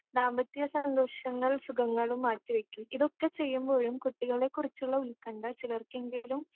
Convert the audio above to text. ദാമ്പത്യസന്തോഷങ്ങൾ സുഖങ്ങളും മാറ്റിവയ്ക്കും ഇതൊക്കെ ചെയ്യുമ്പോഴും കുട്ടികളെകുറിച്ചുള്ള ഉത്കണ്ട ചിലർക്കെങ്കിലും